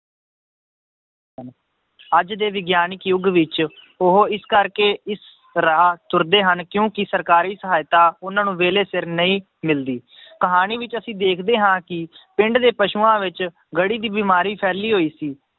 ਅੱਜ ਦੇ ਵਿਗਿਆਨਕਿ ਯੁੱਗ ਵਿੱਚ ਉਹ ਇਸ ਕਰਕੇ ਇਸ ਰਾਹ ਤੁਰਦੇ ਹਨ ਕਿਉਂਕਿ ਸਰਕਾਰੀ ਸਹਾਇਤਾ ਉਹਨਾਂ ਨੂੰ ਵੇਲੇ ਸਿਰ ਨਹੀਂ ਮਿਲਦੀ ਕਹਾਣੀ ਵਿੱਚ ਅਸੀਂ ਦੇਖਦੇ ਹਾਂ ਕਿ ਪਿੰਡ ਦੇ ਪਸੂਆਂ ਵਿੱਚ ਗੜੀ ਦੀ ਬਿਮਾਰੀ ਫੈਲੀ ਹੋਈ ਸੀ